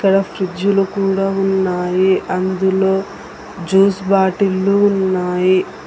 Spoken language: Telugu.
అక్కడ ఫ్రిడ్జ్ లుకూడా ఉన్నాయి అందులో జ్యూస్ బాటిల్లు ఉన్నాయి.